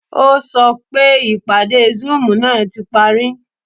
O sọ pé ìpadé zoom ná ti parí